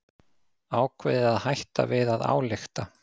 Ákveðið að hætta við að álykta